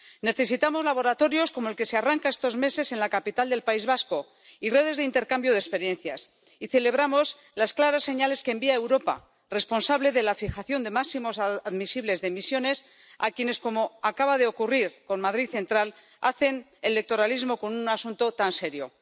Necesitamos laboratorios como el que se arranca estos meses en la capital del País Vasco y redes de intercambio de experiencias, y celebramos las claras señales que envía Europa, responsable de la fijación de máximos admisibles de emisiones, a quienes, como acaba de ocurrir con Madrid Central, hacen electoralismo con un asunto tan serio.